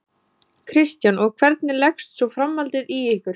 Kristján: Og hvernig leggst svo framhaldið í ykkur?